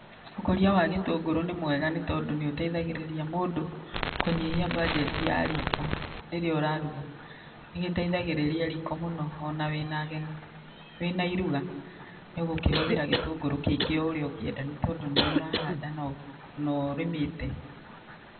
Ukũria wa gĩtũngũrũ nĩ mwega nĩ tondũ nĩ ũteithagĩrĩria mũndũ kũnyihia mbajeti ya riiko rĩrĩa ũraruga. Nĩ gĩteithagĩrĩria riiko mũno ona wĩna ageni. Wĩna iruga nĩ ũgũkĩhũthĩra gĩtũngũrũ kĩingĩ ũrĩa ũngenda nĩ tondũ nĩwe ũrahanda na ũrĩmĩte.